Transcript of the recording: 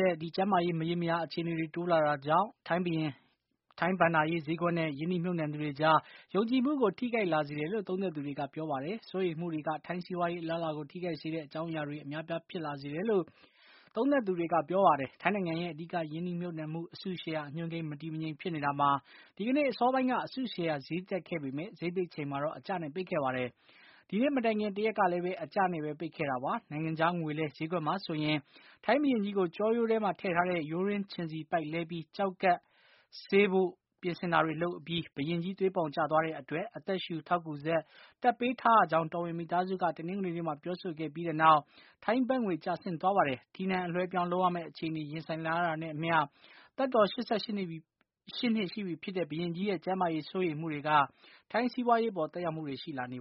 ဲ့ကျန်းမာရေး မရေမရာအခြေအနေတွေ တိုးလာနေတာကြောင့် ထိုင်းဘဏ္ဍာရေးဈေးကွက်နဲ့ ရင်းနှီးမြှုပ်နှံသူတွေကြား ယုံကြည်မှုကို ထိခိုက်လာစေတယ်လို့ သုံးသပ်သူတွေက ပြောပါတယ်။ စိုးရိမ်မှုတွေက ထိုင်းစီးပွားရေး အလားအလာကို ထိခိုက်စေတဲ့ အကြောင်းအရာတွေ အများအပြား ဖြစ်လာစေတယ်လို့ သူတို့က ပြောပါတယ်။ ထိုင်းနိုင်ငံရဲ့ အဓိက ရင်းနှီးမြှုပ်နှံမှု အစုရှယ်ယာအညွန်းကိန်း မတည်မငြိမ် ဖြစ်နေတာမှာ ဒီကနေ့ အစောပိုင်းက အစုရှယ်ယာ ဈေးတက်ခဲ့ပေမဲ့ ဈေးပိတ် ချိန်မှာတော့ အကျနဲ့ ပိတ်ခဲ့ပါတယ်။ ဒီနေ့ မတိုင်ခင် တရက်ကလည်း အကျနဲ့ပဲ ပိတ်ခဲ့တာပါ။ နိုင်ငံခြားငွေလဲ ဈေးကွက်မှာ ဆိုရင်လည်း - ထိုင်းဘုရင်ကြီးကို ကျောရိုးထဲမှာထည့်ထားတဲ့ ရိုးတွင်းချဉ်ဆီပိုက် လဲပြီး ကျောက်ကပ်ဆေးဖို့ ပြင်ဆင်တာတွေ လုပ်အပြီး ဘုရင်ကြီး သွေးပေါင်ကျသွားတဲ့အတွက် အသက်ရှူ ထောက်ကူစက် တပ်ပေးထားရတဲ့အကြောင်း တော်ဝင်မိသားစုက တနင်္ဂနွေနေ့မှာ ပြောဆိုခဲ့ပြီး တဲ့နောက် ထိုင်းဘတ်ငွေဈေး ကျဆင်းသွားပါတယ်။ ထီးနန်းအလွှဲအပြောင်း လုပ်ရမယ့် အခြေအနေ ရင်ဆိုင်လာရတာနဲ့အမျှ သက်တော် ၈၈ နှစ်ရှိပြီဖြစ်တဲ့ ဘုရင်ကြီးရဲ့ ကျန်းမာရေး စိုးရိမ်မှုတွေက ထိုင်းစီးပွားရေးအပေါ် သက်ရောက်မှုတွေ ရှိလာနေ